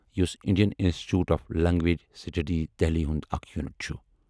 یُس Indian institute of language studies Delhi ہُند اکھ یوٗنُٹ چھُ۔